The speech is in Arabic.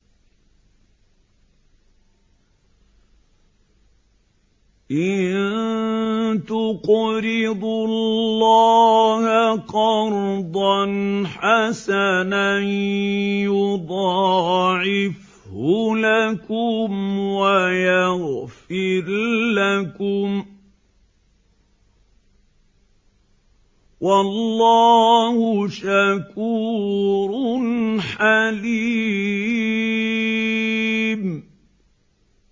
إِن تُقْرِضُوا اللَّهَ قَرْضًا حَسَنًا يُضَاعِفْهُ لَكُمْ وَيَغْفِرْ لَكُمْ ۚ وَاللَّهُ شَكُورٌ حَلِيمٌ